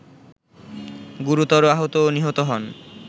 গুরুতর আহত ও নিহত হন